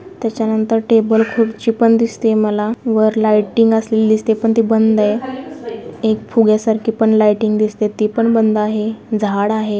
त्याच्या नंतर टेबल खुर्ची पण दिसतय मला वर लायटिंग असलेली दिसतय पण ते बंद आहे. एक पुग्या सारखी पण लायटिंग दिसतय ती पण बंद आहे झाड आहे.